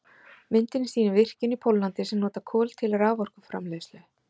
Myndin sýnir virkjun í Póllandi sem notar kol til raforkuframleiðslu.